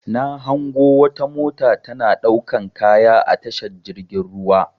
Na hango wata mota tana ɗaukan kaya a tashar jirgin ruwa.